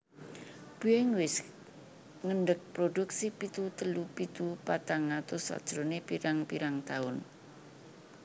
Boeing wis ngendeg produksi pitu telu pitu patang atus sajrone pirang pirang tahun